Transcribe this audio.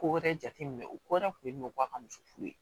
Ko wɛrɛ jateminɛ o ko yɛrɛ tun ye nɔkɔ a ka muso furu